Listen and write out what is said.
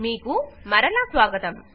మీకు మరలా స్వాగతంస్వాగత్తం